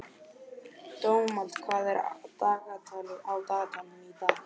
Dómald, hvað er á dagatalinu í dag?